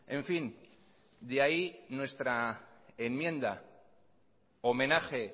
en fin de ahí nuestra enmienda homenaje